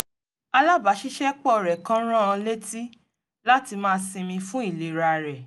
alábaṣiṣ́ẹpọ̀ rẹ̀ kan rán an létí láti máa sinmi fún ìlera rẹ̀